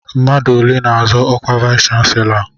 Mmadụ ole n'azọ ọkwa vayis chansilọ a?